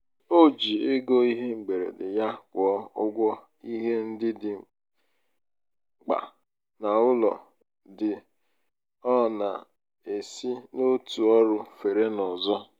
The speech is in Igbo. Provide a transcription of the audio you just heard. o ji ego ihe mgberede yá kwụọ ụgwọ ihe ndị dị mkpa n'ụlọ dị ọ na-esi n'otu ọrụ fere n'ọzọ.